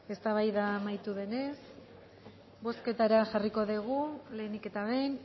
eztabaida amaitu denez bozketara jarriko dugu lehenik eta behin